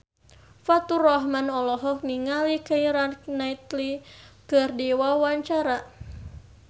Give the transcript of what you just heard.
Faturrahman olohok ningali Keira Knightley keur diwawancara